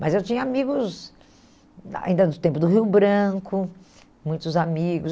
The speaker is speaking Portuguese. Mas eu tinha amigos, ainda no tempo do Rio Branco, muitos amigos.